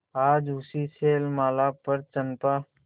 आज उसी शैलमाला पर चंपा